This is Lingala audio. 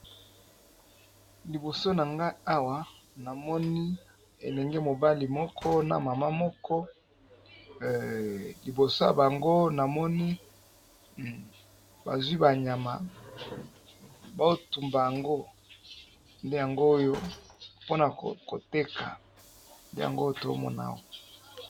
liboso na ngai awa namoni elenge mobali moko na mama moko liboso ya bango namoni bazwi banyama baotumba yango nde yango oyo mpona koteka yango tomonao